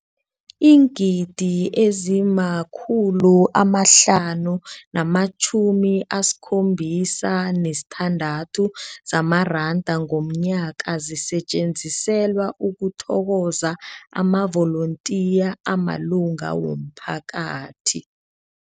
Iingidi ezima-576 zamaranda ngomnyaka zisetjenziselwa ukuthokoza amavolontiya amalunga womphakathi.